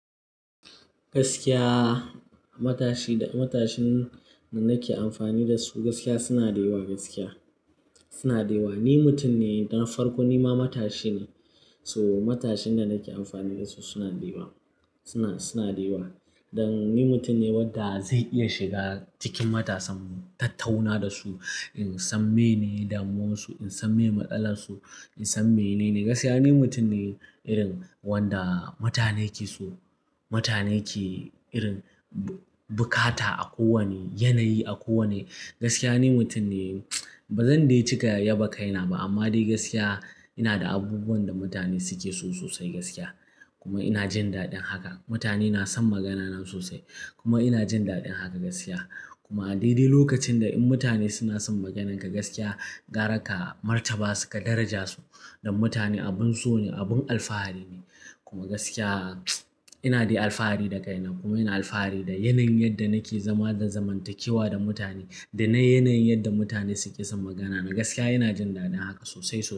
Gaskiya matashi da matashin da nake amfani da su gaskiya suna da yawa gaskiya suna da yawa. Ni mutum ne na farko nima matashi ne. So matashin da nake amfani da su suna dewa suna, suna dewa. Dan ni mutum ne wanda zai iya shiga cikin matasan, tattauna da su in san mene damuwarsu, in san me matsalar su, in san menene gaskiya. Ni mutum ne irin wanda mutane ke so, mutane ke irin bukata a kowane yanayi, a kowane gaskiya. Ni mutum ne ba zan dai cika yaba kaina ba amma dai gaskiya ina da abubuwan da mutane suke so sosai gaskiya. Kuma ina jin daɗin haka. Mutane na son magana na sosai kuma ina jin daɗin haka gaskiya. Kuma dai dai lokacin da in mutane suna son maganinka gaskiya gara ka, martaba su ka daraja su dan mutane abin so ne, abin alfahari ne. Kuma gaskiya ina dai alfahari da kaina. Kuma ina alfahari da yanayin yadda nake zama da zamantakewa da mutane, da na yanayin yadda mutane suke son magana na gaskiya. Ina jin daɗin haka sosai.